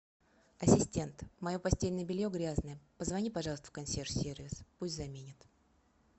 ассистент мое постельное белье грязное позвони пожалуйста в консьерж сервис пусть заменят